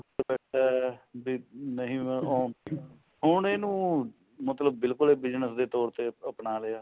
ਅੱਛਾ ਵੀ ਨਹੀਂ ਉਹ ਉਹ ਹੁਣ ਇਹਨੂੰ ਮਤਲਬ ਬਿਲਕੁਲ ਹੀ business ਦੇ ਤੋਰ ਤੇ ਅਪਣਾ ਲਿਆ